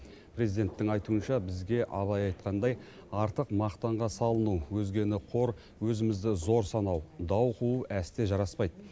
президенттің айтуынша бізге абай айтқандай артық мақтанға салыну өзгені қор өзімізді зор санау дау қуу әсте жараспайды